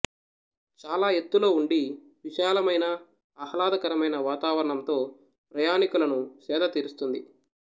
చాలా ఎత్తులో ఉండి విశాలమైన అహ్లాదకరమైన వాతావరణంతో ప్రయాణికులను సేదతీరుస్తుంది